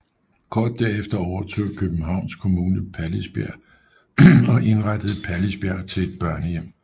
Kort derefter overtog Københavns Kommune Pallisbjerg og indrettede Pallisbjerg til et børnehjem